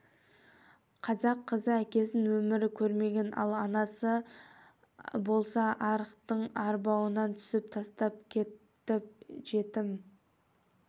қазақ қызы әкесін өмірі көрмеген ал анасы анасы болса арақтың арбауына түсіп тастап кетті жетім